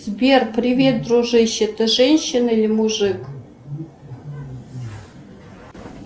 сбер привет дружище ты женщина или мужик